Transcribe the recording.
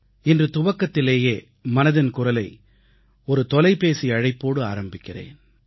இன்று தொடக்கத்திலேயே மனதின் குரலை ஒரு தொலைபேசி அழைப்புடன் தொடங்குகிறேன்